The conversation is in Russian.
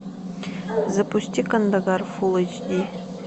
запусти кандагар фул эйч ди